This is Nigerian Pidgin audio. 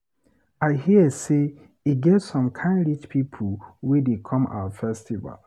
I hear say e get some kin rich people wey dey come our festival.